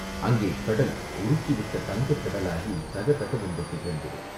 அங்கே கடல் உருக்கிவிட்ட தங்கக் கடலாகித் தகதகவென்று திகழ்ந்தது.